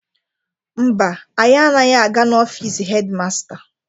Mba, anyi anaghị aga n'ofiisi hedi masta.